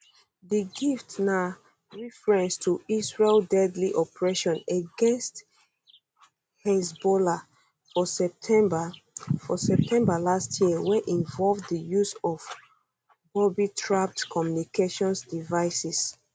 di gift na reference to israel deadly operation against hezbollah for september for september last year wey involve di use of boobytrapped communications devices